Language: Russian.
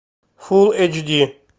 фул эйч ди